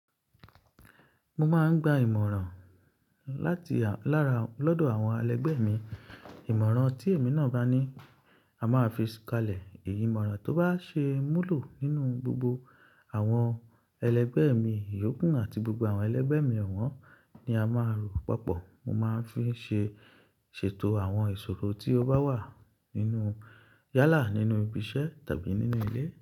Mo máa ń gba ìmọ̀ràn láti lára lọ́dọ̀ àwọn ẹlẹgbẹ́ mi. Ìmọ̀ràn tí èmi náà bá ní, a máa fi kalẹ̀. Èyí ìmọ̀ràn tó bá ṣe múlò nínú gbogbo àwọn ẹlẹgbẹ́ mi yòókù àti gbogbo àwọn ẹlẹgbẹ́ mi ọ̀wọ́n ni a máa rò papọ̀. Mo máa ń fi ṣe, ṣètò àwọn ìṣòro tí ó bá wà nínú yálà, nínú ibi iṣẹ́ tàbí nínú ilé.